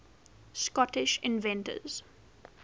scottish inventors